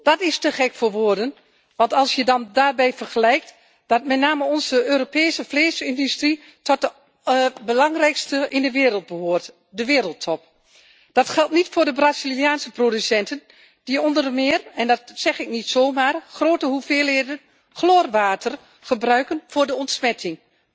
Dat is te gek voor woorden, te meer als je weet dat met name onze Europese vleesindustrie tot de belangrijkste in de wereld behoort, de wereldtop. Dat geldt niet voor de Braziliaanse producenten die onder meer en dat zeg ik niet zomaar grote hoeveelheden chloorwater gebruiken voor de ontsmetting.